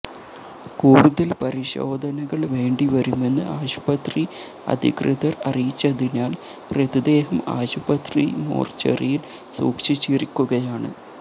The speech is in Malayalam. കൂടുതൽ പരിശോധനകൾ വേണ്ടിവരുമെന്ന് ആശുപത്രി അധികൃതർ അറിയിച്ചതിനാൽ മൃതദേഹം ആശുപത്രി മോർച്ചറിയിൽ സൂക്ഷിച്ചിരിക്കുകയാണ്